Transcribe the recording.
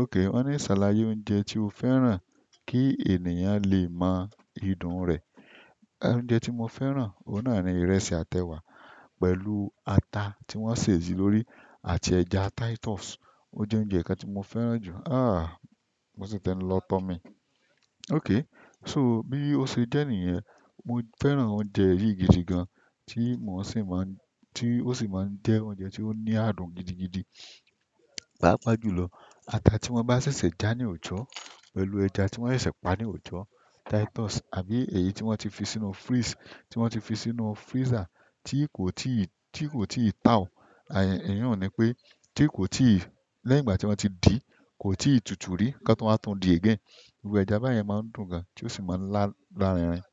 Ok won ni salaye oúnjẹ ti o fẹ́ràn ki ènìyàn le mo idun re. Oúnjẹ tí mo fẹ́ràn, òun náà ni ìrẹsì àti ẹwa pẹ̀lú ata tí wọ́n sè é sí lórí àti ẹja Titus. O je oúnjẹ kan ti mo fẹ́ràn ju. Mo sì tẹ́ ẹ lọ tọ́ mi. Okay, so bí ó ṣe jẹ́ nìyẹn, mo fẹ́ràn oúnjẹ yìí gidi gan tí mò ń sì máa ń, tí ó sì máa ń jẹ́ oúnjẹ tí ó ní ààdùn gidigidi. Páápàá jùlọ ata tí wọ́n bá ṣẹ̀ṣẹ̀ já ní oòjò pẹ̀lú ẹja tí wọ́n ṣẹ̀ṣẹ̀ pà ní òojò Titus àbí èyí tí wọ́n ti fi sínú freeze, tí wọ́n ti fi sínú freezer tí kò tí ì, tí kò tí ì tao. E yi un ni pé tí kò tí ì, lẹ́yìn ìgbà tí wọ́n ti dì kò tí ì tutù rí kí wọ́n máa tún dì again. Iru ẹja bayen maa n dùn gan ti o si maa n larinrin.